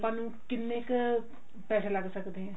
ਆਪਾਂ ਨੂੰ ਕਿੰਨੇ ਕ ਪੈਸੇ ਲੱਗ ਸਕਦੇ ਆਂ